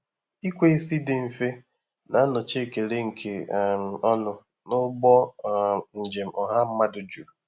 Ikwe isi dị mfe na-anọchi ekele nke um ọnụ n'ụgbọ um njem ọha mmadụ juru.